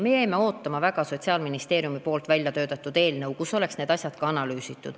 Me jäime väga ootama Sotsiaalministeeriumi väljatöötatud eelnõu, kus oleks võinud need asjad olla ka analüüsitud.